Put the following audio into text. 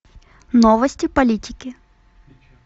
новости политики